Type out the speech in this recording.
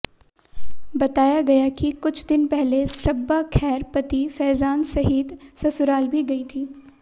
बताया गया कि कुछ दिन पहले सब्बा खैर पति फैजान सहित ससुराल भी गई थी